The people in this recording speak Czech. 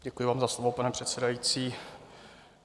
Děkuji vám za slovo, pane předsedající.